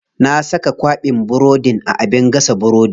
Na saka kwaɓin burodin a abin gasa burodi.